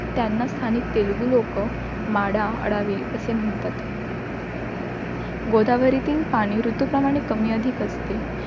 त्यांना स्थानिक तेलगु लोकं, माडाअडवि असे म्हणतात. गोदावरीतील पाणी ऋतूप्रमाणे कमीअधिक असते.